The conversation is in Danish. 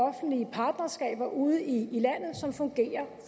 offentlige partnerskaber ude i landet som fungerer